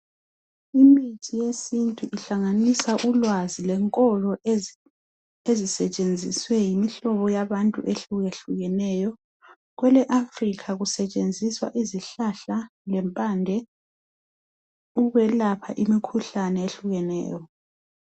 imithi yesintu ihlanganisa ulwazi lenkolo ezisetshenziswe yimihlobo yabantu hlukahlukeneyo kwele Africa kusetshenziswa izihlahla lempande ukwelapha imikhuhlane ehlukeneyo.